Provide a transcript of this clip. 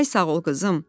Ay sağ ol qızım.